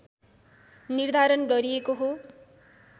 निर्धारण गरिएको हो